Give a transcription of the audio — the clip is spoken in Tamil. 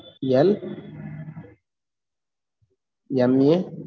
A